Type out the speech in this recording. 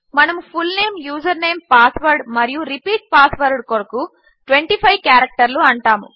మనము full name username password మరియు repeat password కొరకు 25 క్యారెక్టర్లు అంటాము